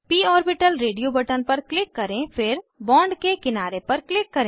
प orbital radio button पर click करें फिर बॉन्ड के किनारे पर क्लिक करें